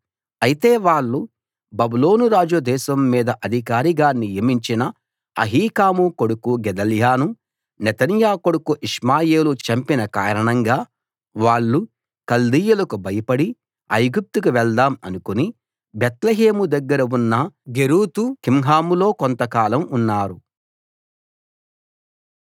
అయితే వాళ్ళు బబులోను రాజు దేశం మీద అధికారిగా నియమించిన అహీకాము కొడుకు గెదల్యాను నెతన్యా కొడుకు ఇష్మాయేలు చంపిన కారణంగా వాళ్ళు కల్దీయులకు భయపడి ఐగుప్తుకు వెళ్దాం అనుకుని బేత్లెహేము దగ్గర ఉన్న గెరూతు కింహాములో కొంత కాలం ఉన్నారు